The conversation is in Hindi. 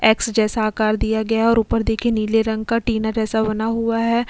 एक्स जैसा आकार दिया गया है और ऊपर देखिए नीले रंग का टीना जैसा बना हुआ है।